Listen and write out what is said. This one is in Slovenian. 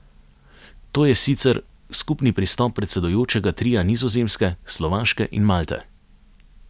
To je sicer skupni pristop predsedujočega tria Nizozemske, Slovaške in Malte.